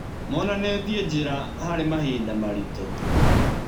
Monanĩtiĩ njĩra harĩ mahinda maritũ.